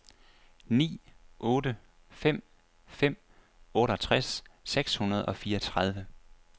ni otte fem fem otteogtres seks hundrede og fireogtredive